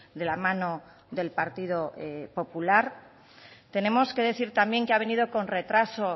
de la mano del partido popular tenemos que decir también que ha venido con retraso